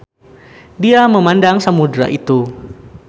Dia memandang samudera itu.